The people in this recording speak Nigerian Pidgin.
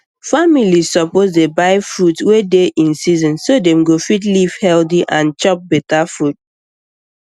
families suppose dey buy fruit wey dey in season so dem go fit live healthy and chop better food